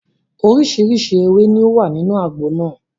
Oríṣiríṣi ewé ni ó wà nínú àgbo náà.